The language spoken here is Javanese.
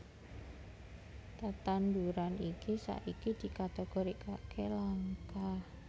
Tetanduran iki saiki dikategorikaké langka